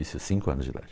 Isso, cinco anos de idade.